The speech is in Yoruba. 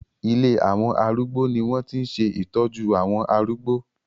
Ilé àwọn arúgbó ni wọ́n ti ń ṣe ìtọ́jú àwọn arúgbó